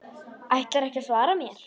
Ætlarðu ekki að svara mér?